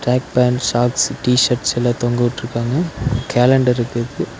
Black pants shorts T shirts எல்லா தொங்கவுட்ருக்காங்க calendar இருக்கு இதுக்கு.